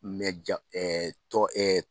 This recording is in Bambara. ja tɔn